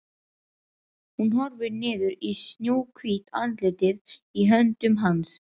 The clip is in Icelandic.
Hún horfir niður í snjóhvítt andlitið í höndum hans.